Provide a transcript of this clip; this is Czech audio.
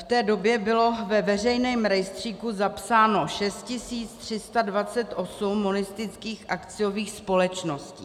V té době bylo ve veřejném rejstříku zapsáno 6 328 monistických akciových společností.